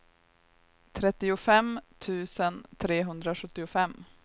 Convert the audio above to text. trettiofem tusen trehundrasjuttiofem